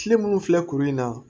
Kile munnu filɛ kuru in na